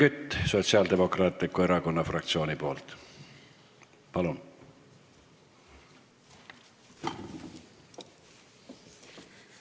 Helmen Kütt Sotsiaaldemokraatliku Erakonna fraktsiooni nimel, palun!